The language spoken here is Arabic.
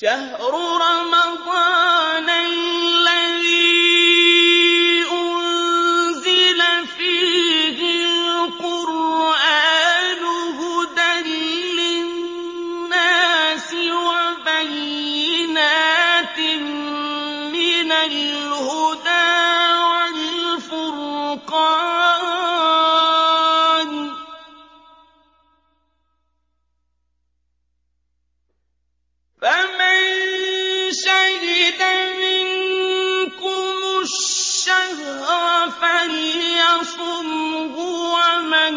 شَهْرُ رَمَضَانَ الَّذِي أُنزِلَ فِيهِ الْقُرْآنُ هُدًى لِّلنَّاسِ وَبَيِّنَاتٍ مِّنَ الْهُدَىٰ وَالْفُرْقَانِ ۚ فَمَن شَهِدَ مِنكُمُ الشَّهْرَ فَلْيَصُمْهُ ۖ وَمَن